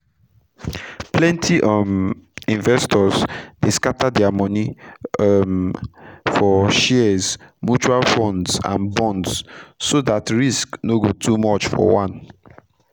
plenty um investors dey scatter dia moni um for shares mutual funds and bonds so dat risk no go too much for one